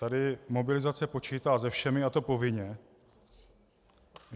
Tady mobilizace počítá se všemi, a to povinně.